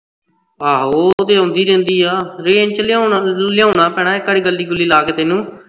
ਆਹੋ ਉਹ ਤੇ ਆਉਂਦੀ ਰਹਿੰਦੀ ਆ range ਵਿੱਚ ਲਿਆਉਣਾ ਤੇ ਤੂੰ ਲਿਆਉਣਾ ਪੈਣਾਂ ਇਕ ਵਾਰ ਗਁਲੀ ਗੁਲੀ ਲਾ ਕੇ ਤੈਨੂੰ